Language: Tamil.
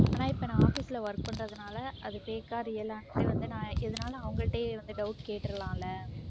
ஆனா இப்ப நான் office ல work பண்றதுனால அது fake ஆ real ஆன்னு சொல்லி வந்து நான் எதுனாலும் அவங்ககிட்டயே வந்து doubt கேட்டறலாம் இல்ல